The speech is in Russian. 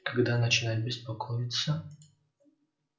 когда начинать беспокоиться